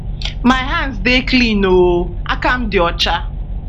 my hands dey clean oooooooooooo akam di ocha